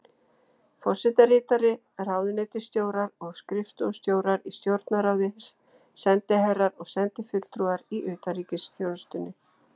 Forsetaritari, ráðuneytisstjórar og skrifstofustjórar í Stjórnarráði, sendiherrar og sendifulltrúar í utanríkisþjónustunni.